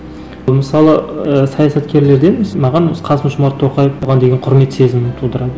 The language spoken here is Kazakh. мысалы ыыы саясаткерлерден маған қасым жомарт тоқаев оған деген құрмет сезімін тудырады